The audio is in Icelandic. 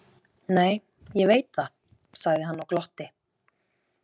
Nei, ég veit það, sagði hann og glotti.